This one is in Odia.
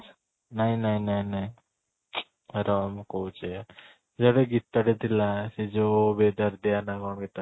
ନାଇଁ ନାଇଁ ନାଇଁ ନାଇଁ ରହ ମୁଁ କହୁଛି ଗୀତ ରେ ଥିଲା ସେଇ ଯୋଉ ନ କ'ଣ ଗୀତ ଟା